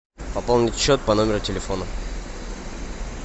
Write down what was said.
пополнить счет по номеру телефона